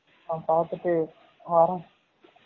நா பாதுட்டு வரேன்